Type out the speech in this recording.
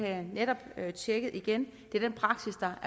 jeg netop tjekket igen det er den praksis der